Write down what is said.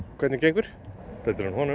hvernig gengur betur en honum